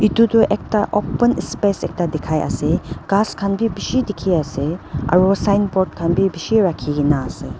ito toh ekta open space ekta dikhai ase ghas khan bi bishi dikhi ase aru signboard khan bi bishi rakhigena ase.